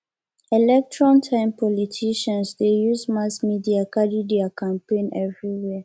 election time politicians dey use mass media carry their campaign everywhere